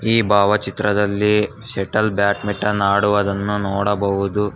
ಈ ಭಾವಚಿತ್ರದಲ್ಲಿ shuttle badminton ಆಡುವದನ್ನು ನೋಡಬಹುದು.